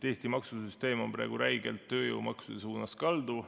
Eesti maksusüsteem on praegu räigelt tööjõumaksude suunas kaldu.